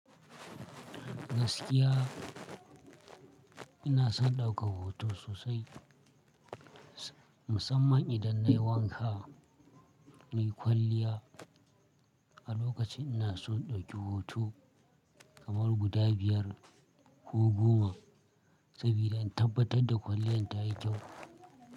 Gaskiya ina son ɗaukar hoto sosai, musamman idan na yi wanka na yi kwalliya. A lokacin ina so na ɗauki hoto kamar guda biyar ko goma saboda in tabbatar da kwalliyan ta yi kyau.